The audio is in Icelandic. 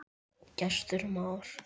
Gestur Már.